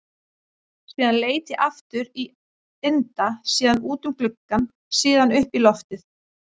Síðan leit ég aftur á Inda, síðan út um gluggann, síðan upp í loftið.